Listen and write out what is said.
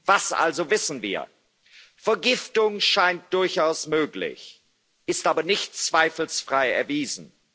Was also wissen wir? Vergiftung scheint durchaus möglich, ist aber nicht zweifelsfrei erwiesen.